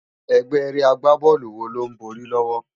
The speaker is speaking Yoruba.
Égbè ágbábòlú wó ló n bòri lòwò?